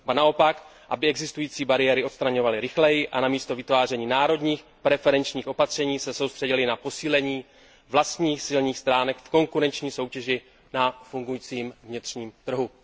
Ba naopak, aby existující bariéry odstraňovaly rychleji a na místo vytváření národních preferenčních opatření se soustředily na posílení vlastních silných stránek v konkurenční soutěži na fungujícím vnitřním trhu.